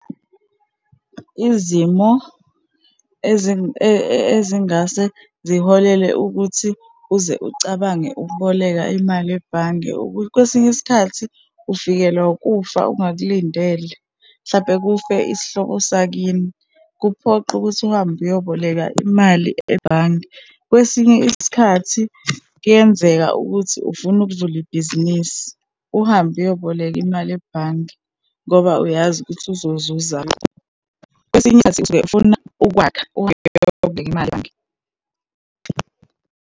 Izimo ezingase ziholele ukuthi uze ucabange ukuboleka imali ebhange ukuthi kwesinye isikhathi ufikelwa ukufa ungakulindele. Mhlampe kufe isihlobo sakini, kuphoqe ukuthi uhambe uyoboleka imali ebhange. Kwesinye isikhathi kuyenzeka ukuthi ufuna ukuvula ibhizinisi, uhambe uyoboleka imali ebhange ngoba uyazi ukuthi uzozuza ini .